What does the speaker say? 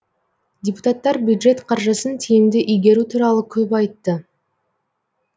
депутаттар бюджет қаржысын тиімді игеру туралы көп айтты